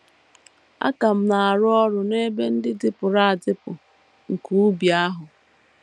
Aka m na - arụ ọrụ n’ebe ndị dịpụrụ adịpụ nke ubi ahụ! ”